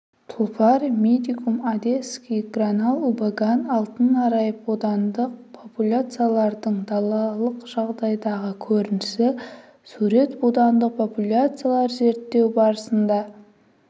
тұлпар медикум одесский гранал убаган алтын арай будандық популяциялардың далалық жағдайдағы көрінісі сурет будандық популяциялар зерттеу барысында